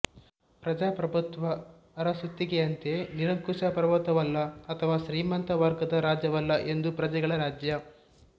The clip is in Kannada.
ಪ್ರಜಾಪ್ರಭುತ್ವ ಅರಸೊತ್ತಿಗೆಯಂತೆ ನಿರಂಕುಶ ಪ್ರಭುತ್ವವಲ್ಲ ಅಥವಾ ಶ್ರೀಮಂತ ವರ್ಗದ ರಾಜ್ಯವಲ್ಲ ಇದು ಪ್ರಜೆಗಳ ರಾಜ್ಯ